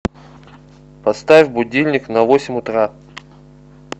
поставь будильник на восемь утра